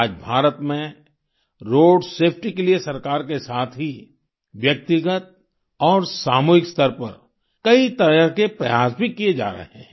आज भारत में road safety के लिए सरकार के साथ ही व्यक्तिगत और सामूहिक स्तर पर कई तरह के प्रयास भी किये जा रहे हैं